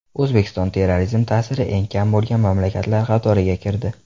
O‘zbekiston terrorizm ta’siri eng kam bo‘lgan mamlakatlar qatoriga kirdi.